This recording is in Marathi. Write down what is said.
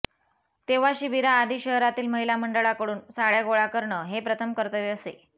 तेव्हा शिबिराआधी शहरातील महिला मंडळाकडून साडय़ा गोळा करणं हे प्रथम कर्तव्य असे